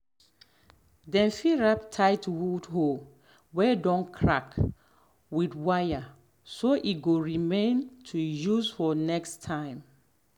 dem fit wrap tight wood hoe way don crack with wire so e go remain to use for next time.